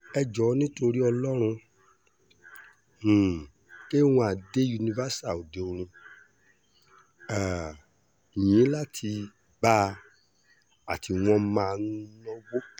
ẹ jọ̀ọ́ nítorí ọlọ́run um k one dé universal òde orin um yín la ti bá a tí wọ́n máa ń náwó